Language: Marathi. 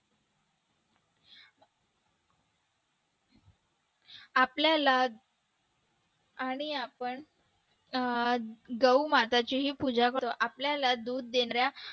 आपल्याला आणि आपण अं गौ माताची ही पूजा करतो आपल्याला दूध देणाऱ्या